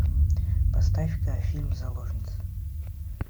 поставь ка фильм заложница